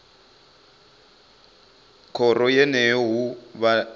khoro yeneyo hu vha hu